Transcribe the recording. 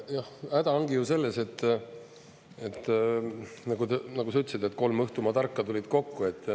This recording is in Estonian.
Häda ongi ju selles, et, nagu sa ütlesid, et kolm õhtumaa tarka tulid kokku.